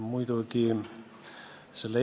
Minu küsimus on selline.